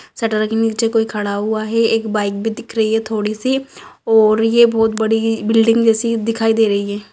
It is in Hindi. शटर के नीचे कोई खड़ा हुआ है एक बाइक भी दिख रही है थोड़ी सी और यह बहुत बड़ी बिल्डिंग जैसे दिखाई दे रही है।